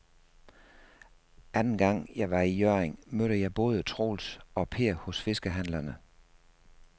Anden gang jeg var i Hjørring, mødte jeg både Troels og Per hos fiskehandlerne.